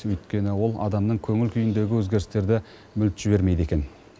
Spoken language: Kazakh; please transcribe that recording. өйткені ол адамның көңіл күйіндегі өзгерістерді мүлт жібермейді екен